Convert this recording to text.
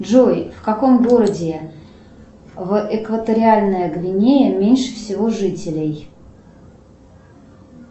джой в каком городе в экваториальная гвинея меньше всего жителей